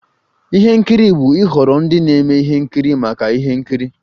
Ihe nkiri bụ ịhọrọ ndị na-eme ihe nkiri maka ihe nkiri.